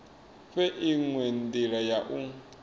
fhe inwe ndila ya u